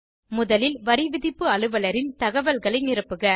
முதலில் வரிவிதிப்பு அலுவலரின் தகவல்களை நிரப்புக